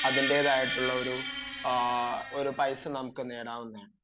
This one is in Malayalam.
അതിന്റേതായിട്ടുള്ള ഒരു പൈസ നമുക്ക് നേടാവുന്നതാണ്